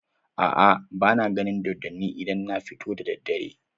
A'a, ba na ganin dodonni idan na fito da daddare.